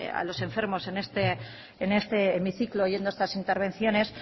a los enfermos en este hemiciclo oyendo estas intervenciones